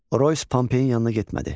Oroys Pompeyin yanına getmədi.